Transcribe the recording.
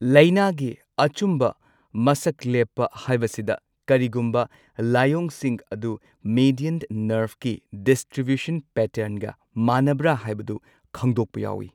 ꯂꯩꯅꯥꯒꯤ ꯑꯆꯨꯝꯕ ꯃꯁꯛ ꯂꯦꯞꯄ ꯍꯥꯢꯕꯁꯤꯗ ꯀꯔꯤꯒꯨꯝꯕ ꯂꯥꯏꯑꯣꯡꯁꯤꯡ ꯑꯗꯨ ꯃꯦꯗ꯭ꯌꯟ ꯅꯔ꯭ꯚꯀꯤ ꯗꯤꯁꯇ꯭ꯔꯤꯕ꯭ꯌꯨꯁꯟ ꯄꯦꯇꯔ꯭ꯟꯒ ꯃꯥꯟꯅꯕ꯭ꯔ ꯍꯥꯢꯕꯗꯨ ꯈꯪꯗꯣꯛꯄ ꯌꯥꯎꯋꯤ꯫